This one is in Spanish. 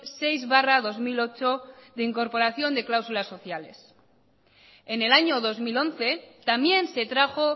seis barra dos mil ocho de incorporación de cláusulas sociales en el año dos mil once también se trajo